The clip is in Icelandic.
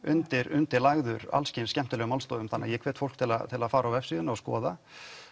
undirlagður alls kyns skemmtilegum málstofum þannig að ég hvet fólk til að fara á vefsíðuna og skoða